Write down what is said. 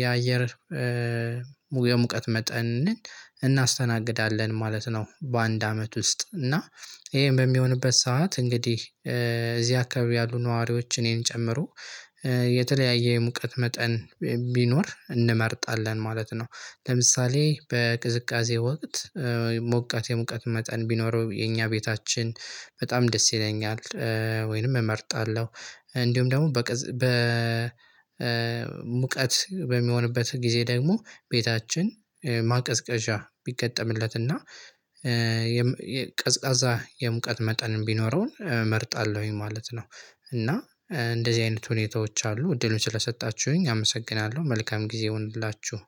የአየር መጠን እናስተናግዳለን ማለት ነው። በአንድ አመት ውስጥ እና ይሄ በሚሆንበት ሰዓት እንግዲህ እዚህ አካባቢ ያሉ ነዋሪዎች እኔን ጨምሮ የተለያየ የሙቀት መጠን ቢኖር እንመርጣለን ማለት ነው። ለምሳሌ በቅዝቃዜ ወቅት ሞቃት የሞቃት መጠን ቢኖረው የኛ ቤታችን በጣም ደስ ይለኛል። ወይንም እመርጣለሁ እንዲሁም ደግሞ በሙቀት በሚሆንበት ጊዜ ደግሞ ቤታችን ማቀዝቀዣ ቢገጠምለትና ቀዝቃዛ የሙቀት መጠን ቢኖረውም እመርጣለሁኝ ማለት ነው። እና እንደዚህ አይነት ሁኔታዎች አሉ እድልም ስለሰጣችሁኝ አመሰግናለሁ። መልካም ጊዜ ይሁንላችሁ።